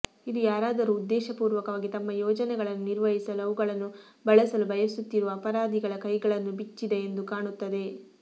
ಇದು ಯಾರಾದರೂ ಉದ್ದೇಶಪೂರ್ವಕವಾಗಿ ತಮ್ಮ ಯೋಜನೆಗಳನ್ನು ನಿರ್ವಹಿಸಲು ಅವುಗಳನ್ನು ಬಳಸಲು ಬಯಸುತ್ತಿರುವ ಅಪರಾಧಿಗಳ ಕೈಗಳನ್ನು ಬಿಚ್ಚಿದ ಎಂದು ಕಾಣುತ್ತದೆ